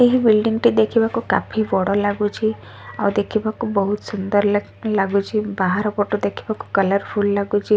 ଏହି ବିଲ୍ଡଙ୍ଗ ଟି ଦେଖି ବାକୁ କାଫି ବଡ଼ ଲାଗୁଛି ଆଉ ଦେଖି ବାକୁ ବହୁତ୍ ସୁନ୍ଦର୍ ଲାଗ୍ ଲାଗୁଛି ବାହାର ପଟୁ ଦେଖି ବାକୁ କଲର୍ ଫୁଲ୍ ଲାଗୁଛି।